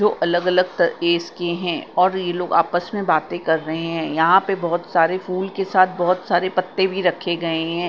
दो अलग अलग की है और ये लोग आपस में बातें कर रहे हैं। यहां पे बहोत सारे फूल के साथ बहोत सारे पत्ते भी रखे गए हैं।